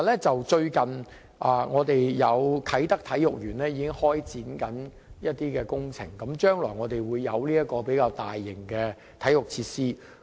最近，啟德體育園已開展一些工程，將來我們會有一個比較大型的體育設施。